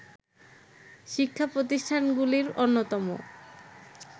শিক্ষা প্রতিষ্ঠানগুলির অন্যতম